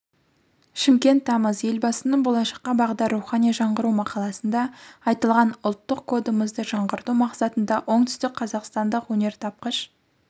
шымкент тамыз елбасының болашаққа бағдар рухани жаңғыру мақаласында айтылған ұлттық кодымызды жаңғырту мақсатында оңтүстікқазақстандық өнертапқыш